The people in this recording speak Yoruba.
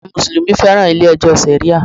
Àwọn Mùsùlùmí féràn ilé ẹjọ́ Sharia.